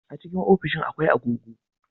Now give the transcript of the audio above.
A cikin ofishi akwai agogo